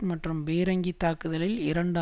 மற்றும் பீரங்கி தாக்குதலில் இரண்டு